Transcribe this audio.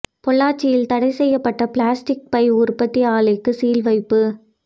பொள்ளாச்சியில் தடை செய்யப்பட்ட பிளாஸ்டிக் பை உற்பத்தி ஆலைக்கு சீல் வைப்பு